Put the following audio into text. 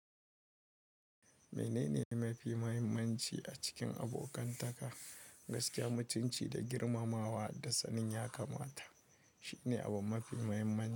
Menene mafi mahimmanci a cikin abokantaka? Gaskiya mutunci da girmamawa da sanin ya kamata shine abu mafi muhimmanci.